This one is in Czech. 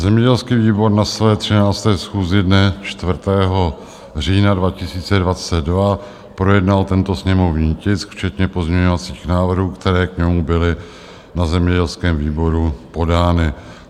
Zemědělský výbor na své 13. schůzi dne 4. října 2022 projednal tento sněmovní tisk včetně pozměňovacích návrhů, které k němu byly na zemědělském výboru podány.